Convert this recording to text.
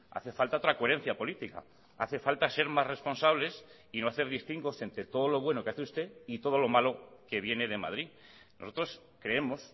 hace falta otra coherencia política hace falta ser más responsables y no hacer distingos entre todo lo bueno que hace usted y todo lo malo que viene de madrid nosotros creemos